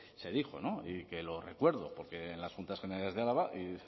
se dijo y que lo recuerdo porque en las juntas generales de álava